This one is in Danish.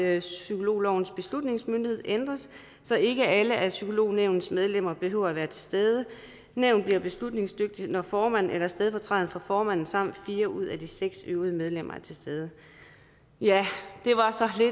at psykologlovens beslutningsmyndighed ændres så ikke alle af psykolognævnets medlemmer behøver at være til stede nævnet bliver beslutningsdygtigt når formanden eller stedfortræderen for formanden samt fire ud af de seks øvrige medlemmer er til stede ja